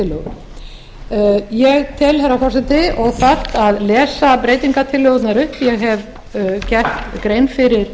breytingartillögu ég tel herra forseti óþarft að lesa breytingartillögurnar upp ég hef gert grein fyrir